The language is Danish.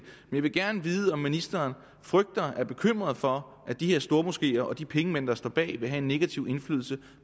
jeg vil gerne vide om ministeren frygter og er bekymret for at de her stormoskéer og de pengemænd der står bag vil have en negativ indflydelse